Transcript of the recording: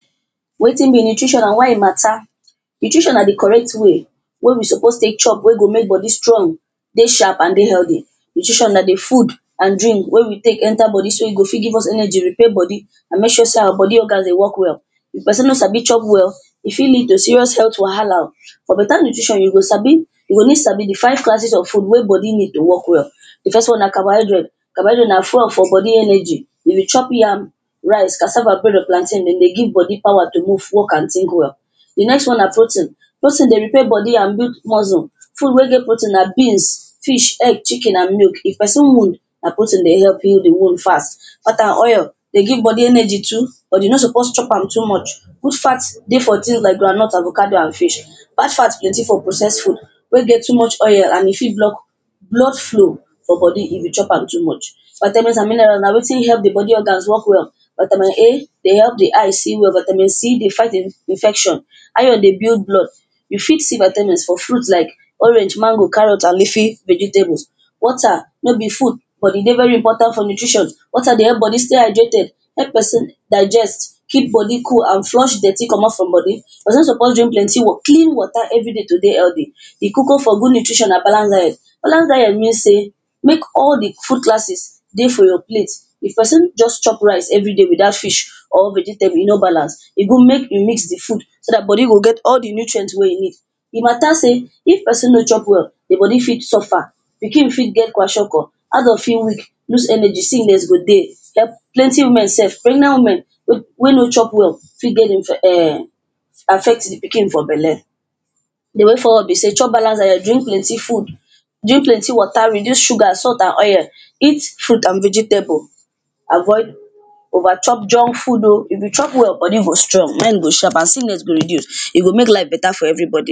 Wetin be nutrition and why e mata Nutrition na di correct way, wey we suppose take chop wey go mek body strong dey sharp and dey healthy Nutrition na di food and drink wey we take enter bodi so e go fit give us energy, repair bodi and make sure say our bodi organs dey work well If person no Sabi chop well, e fit lead to serious health wahala o For better nutrition you go sabi you go need sabi di five classes of food wey bodi need to work well di first one na carbohydrates Carbohydrates na fuel for body energy If you chop yam rice, cassava, bread, or plantain, dem dey give bodi power to move, work and think well di next one na protein Protein dey repair bodi and build muscle Food wey get protein na beans, fish, egg, chicken and milk If pesin wound, na protein dey help heal di wound fast Fats and oils dey give bodi energy too, but you no suppose chop am too much Good fats dey for things like groundnut, avocado, and fish Bad fats plenti for processed foods wey get too much oil and e fit block blood flow for bodi if you chop am too much fatamens and mineral na wetin help the body organs work well Vatamen A dey help the eyes see well Vatamen C dey fight infection Iron dey build blood, you fit see vatamens for fruits Iike orange, mango, carrots and leafy vegetables Water no be food, but e dey very important for nutritions Water dey help bodi stay hydrated, help pesin digest keep bodi cool and flush dirty comot from bodi Person suppose drink plenty clean water every day to dey healthy di koko for good nutrition na balanced diet Balanced diet mean say mek all di food classes dey for your plate if pesin just chop rice everyday, without fish or vegetable, e no balance E good mek you mix di food so dat body go get all di nutrients wey you need E matter sey if pesin no chop well, di bodi fit suffer Pikin fit get kwashiorkor, adult fit weak, loose energy, sickness go dey Plenty women sef, pregnant women wey wey no chop well fit get um affect di pikin for belle Di way forward be say chop balanced diet drink plenti food drink plenti water, reduce sugar, salt and oil, eat fruit and vegetables Avoid over chop junk food o If you chop well, body go strong, mind go sharp and sickness go reduce E go mek life better for everybo